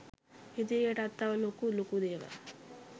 ඉදිරියටත් තව ලොකු ලොකු දේවල්